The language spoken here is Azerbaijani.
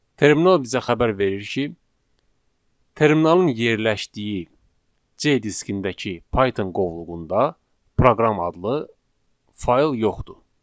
Terminal bizə xəbər verir ki, terminalın yerləşdiyi C diskindəki Python qovluğunda proqram adlı fayl yoxdur.